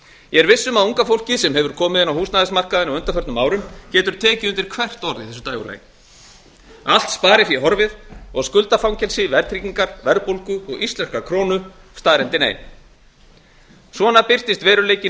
ég er viss um að unga fólkið sem hefur komið inn á húsnæðismarkaðinn á undanförnum árum getur tekið undri hvert orð í þessu dægurlagi allt sparifé horfið og skuldafangelsi verðtryggingar verðbólgu og íslenskrar krónu staðreyndin ein svona birtist veruleikinn